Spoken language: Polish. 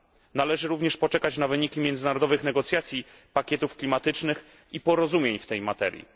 Należy również poczekać na wyniki międzynarodowych negocjacji pakietów klimatycznych i porozumień w tej materii.